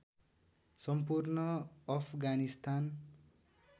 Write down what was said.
सम्पूर्ण अफगानिस्तान